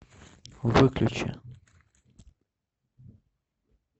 выключи